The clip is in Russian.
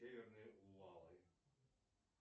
северные увалы